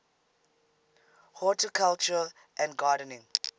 horticulture and gardening